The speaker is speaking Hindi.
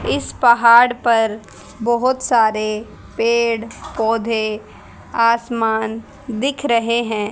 इस पहाड़ पर बहोत सारे पेड़ पौधे आसमान दिख रहे हैं।